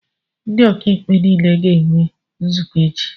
Ndị ọkàikpe nile ga-enwe nzukọ echi